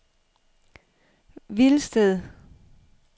Hvilsted